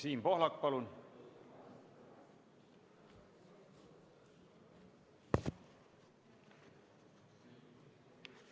Siim Pohlak, palun!